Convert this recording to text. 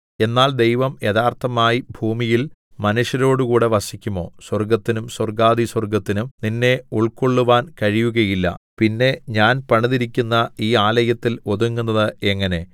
എന്നാൽ ദൈവം യഥാർത്ഥമായി ഭൂമിയിൽ മനുഷ്യരോടുകൂടെ വസിക്കുമോ സ്വർഗ്ഗത്തിനും സ്വർഗ്ഗാധിസ്വർഗ്ഗത്തിനും നിന്നെ ഉൾക്കൊള്ളുവാൻ കഴിയുകയില്ല പിന്നെ ഞാൻ പണിതിരിക്കുന്ന ഈ ആലയത്തിൽ ഒതുങ്ങുന്നത് എങ്ങനെ